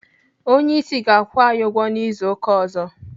Onyeisi ga-akwụ anyị ụgwọ n'izu ụka ọzọ.